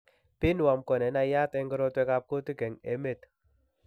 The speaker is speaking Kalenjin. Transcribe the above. Pinworm ko nenaiyat eng' korotwek ab kuutik eng' emet